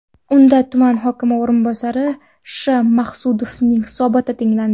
Unda tuman hokimi o‘rinbosari Sh.Maqsudovning hisoboti tinglandi.